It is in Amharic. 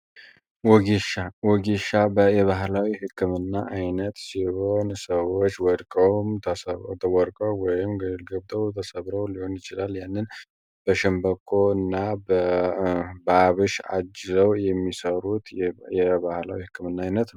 ወጌሻ ወጌሻ በ የባህላዊ ሕክምና ዓይነት ሲሆን፤ ሰዎች ወድቆ ተሰብረው ወይም ገደል ገብተው ተሰብረው ሊሆን ይችላል። ይህንን በሸንበቆ እና በአብሽ አጅዘው የሚሠሩት የባህላዊ ሕክምና ዓይነት ነው።